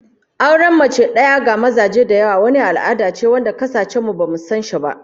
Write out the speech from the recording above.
Auren mace daya ga maza da yawa wani al'ada ce wanda kasashen mu bamu san shi ba